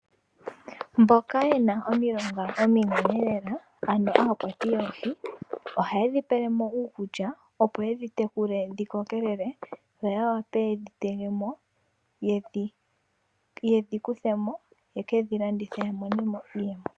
Mboka yena omilonga ominene lela ano aakwati yoohi ohaye dhi pele mo uukulya opo yedhi tekule dhi kokelele. Yo ya vule yedhi tege mo ,yedhi kuthe mo ye kedhi landithe ya mone mo iiyemo.